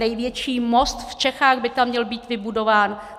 Největší most v Čechách by tam měl být vybudován.